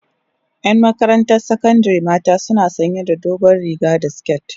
yan Makaranta sakandari mata suna sanya da dogon riga da siket